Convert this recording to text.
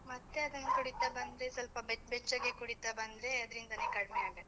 ಮತ್ತೆ ಅದನ್ನ ಕುಡಿತಾ ಬಂದ್ರೆ, ಸ್ವಲ್ಪ ಬೆಚ್ಚ್ ಬೆಚ್ಚಗೆ ಕುಡಿತಾ ಬಂದ್ರೆ, ಅದ್ರಿಂದನೆ ಕಡ್ಮೆಯಾಗತ್ತೆ.